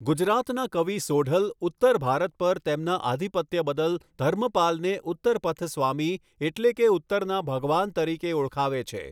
ગુજરાતના કવિ સોઢલ ઉત્તર ભારત પર તેમના આધિપત્ય બદલ ધર્મપાલને ઉત્તરપથસ્વામી એટલે કે ઉત્તરના ભગવાન તરીકે ઓળખાવે છે.